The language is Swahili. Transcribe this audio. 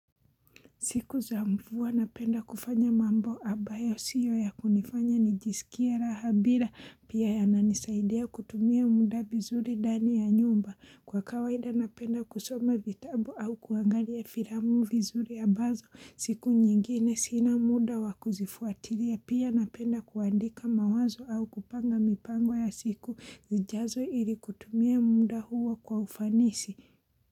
Siku za mvua napenda kufanya mambo ambayo sio ya kunifanya nijisikie raha bila pia yananisaidia kutumia muda vizuri ndani ya nyumba kwa kawaida napenda kusoma vitabu au kuangalia filamu vizuri ambazo siku nyingine sina muda wa kuzifuatilia pia napenda kuandika mawazo au kupanga mipango ya siku zijazo ili kutumia muda huo kwa ufanisi.